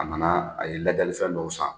A nana a ye ladiyalifɛn dɔw san